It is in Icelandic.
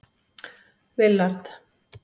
Willard